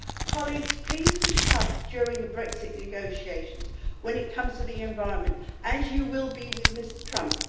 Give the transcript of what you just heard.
Colleagues, please be tough during the Brexit negotiations when it comes to the environment, as you will be with Mr Trump.